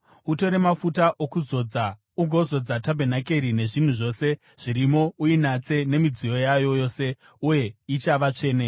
“Utore mafuta okuzodza ugozodza tabhenakeri nezvinhu zvose zvirimo; uinatse nemidziyo yayo yose, uye ichava tsvene.